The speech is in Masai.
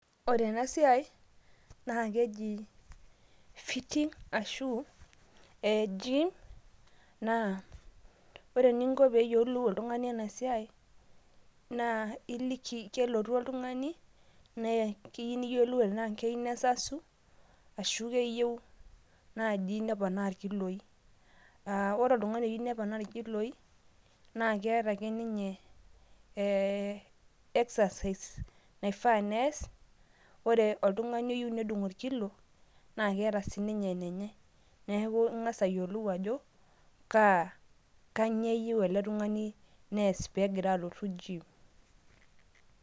Ore ena siai naa keji fitting ashu eji naa ore ening'o pee eyiolou oltung'ani ena siai naa eliki, kelotu oltung'ani neya naa keyiolou enaa keyieu nesasu ashu keyieu naaji neponaa irkiloi, aa ore oltung'ani oyieu neponaa irkiloi naa keeta ake ninye ee exercise naifaa nees ore oltung'ani oyieu nedung' orkillo naa keeta sii ninye enenye. Neeku eng'as ayiolou ajo kanyio eyieu ele Tung'ani neas pegira alotu jiim.